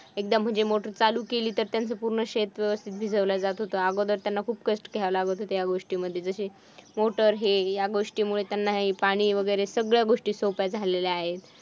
एकदा म्हणजे मोटर चालू केली तर त्यांचे पूर्ण शेत व्यवस्थित भिजवलं जात होतं. अगोदर त्याला खूप कष्ट घ्यावे लागत होते ह्या गोष्टी मध्ये जसं मोटर हे गोष्टीमुळे हे पाणी वैगरे सगळया गोष्टी सोप्या झाल्या आहेत.